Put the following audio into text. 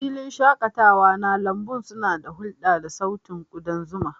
Filin shaƙatawa na lambun suna ta hulɗa da sautin kudan zuma.